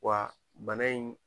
Wa bana in